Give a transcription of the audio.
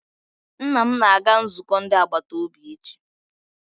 Nna m ga-aga nzukọ ndi agbataobi echi.